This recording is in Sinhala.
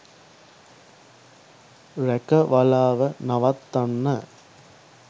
රැකවලාව නවත්වන්න